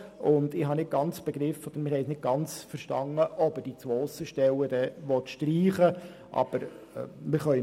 Wir haben nicht ganz verstanden, ob diese Aussenstellen dann gestrichen werden sollen.